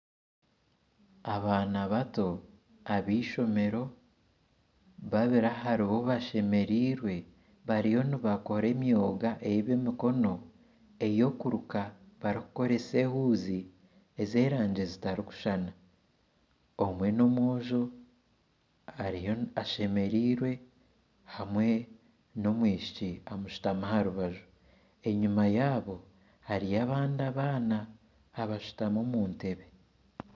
Abaana bato ab'eishomero babiri aharibo bashemereirwe bariyo nibakora emyoga eyebyemikono ey'okuruka barikukoresa ehuzi ez'erangi zitarukushushana omwe n'omwojo ashemereirwe hamwe n'omwishiki omushutami aharubaju enyuma yabo hariyo abandi abaana abashutami omu ntebe